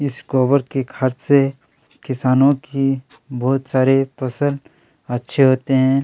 इस खाद से किसानों की बहुत सारी फसल अच्छे होते हैं।